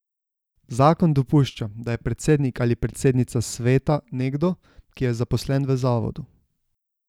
Zakon dopušča, da je predsednik ali predsednica sveta nekdo, ki je zaposlen v zavodu.